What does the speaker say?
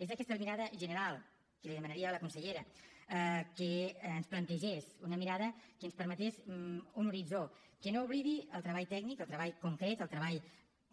és aquesta mirada general que li demanaria a la consellera que ens plantegés una mirada que ens permetés un horitzó que no oblidi el treball tècnic el treball concret el treball